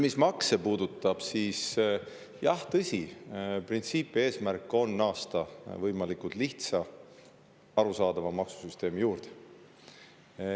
Mis makse puudutab, siis jah, tõsi, printsiip ja eesmärk on naasta võimalikult lihtsa ja arusaadava maksusüsteemi juurde.